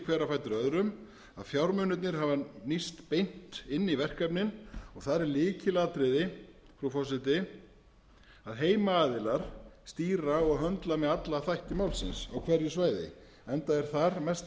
hver á fætur öðrum fjármunirnir hafa nýst beint inn í verkefnin og þar er lykilatriði frú forseti að heimaaðilar stýra og möndla með alla þætti málsins á hverju svæði enda er þar mesta